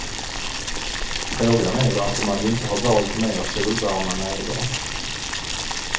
Frågan är varför man inte har valt mer solvarma nejder.